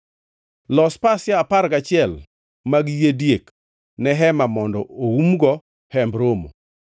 “Los pasia apar gachiel mag yie diek ne hema mondo oumgo Hemb Romo.